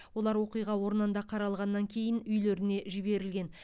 олар оқиға орнында қаралғаннан кейін үйлеріне жіберілген